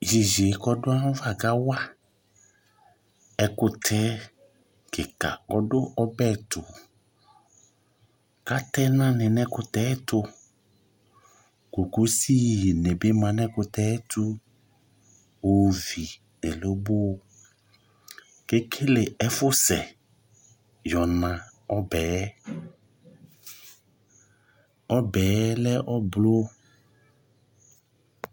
Tʋ iyeye kʋ dʋ ayava kawa ɛkʋtɛ kika kɔdʋ ɔbe tʋ Atɛ ɛna ni nʋ ɛkʋtɛ yɛ ɛtʋ Kokosi ni bi ma nʋ ɛkʋtɛ yɛ ayɛtʋ Ovi nʋ ɛlobo Kʋ ekele efʋ sɛ yɔna ɔbɛ yɛ Ɔbɛ yɛ lɛ ʋblʋɔ